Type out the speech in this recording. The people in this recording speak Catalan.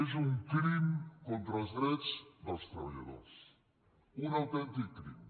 és un crim contra els drets dels tre·balladors un autèntic crim